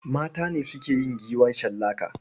Mata ne suke yin giwa shallaka.